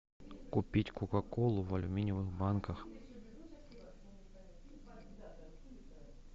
купить кока колу в алюминиевых банках